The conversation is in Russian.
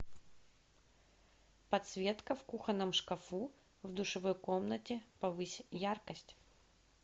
подсветка в кухонном шкафу в душевой комнате повысь яркость